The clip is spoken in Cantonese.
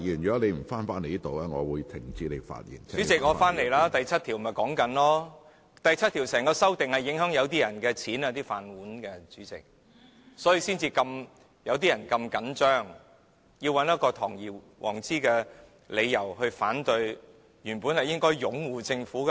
主席，我現在便是說第7條，第7條的修訂影響某些人的收入、"飯碗"，主席，所以他們才這麼緊張，要找一個堂而皇之的理由來反對，原本應該是擁護政府的。